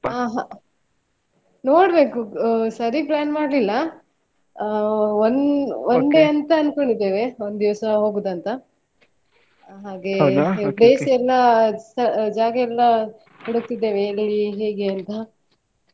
ಹಾ ಹ ನೋಡ್ಬೇಕು ಸರೀ plan ಮಾಡ್ಲಿಲ್ಲ ಅಹ್ one one day ಅಂತ ಅನ್ಕೊಂಡಿದ್ದೇವೆ ಒಂದಿವಸ ಹೋಗುದಂತ ಹಾಗೆ place ಎಲ್ಲಾ ಜಾಗ ಎಲ್ಲಾ ಹುಡುಕ್ತಿದ್ದೇವೆ ಎಲ್ಲಿ ಹೇಗೆ ಅಂತ.